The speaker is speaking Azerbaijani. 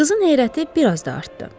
Qızın heyrəti biraz da artdı.